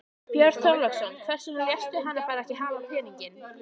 Björn Þorláksson: Hvers vegna léstu hann ekki bara hafa peninginn?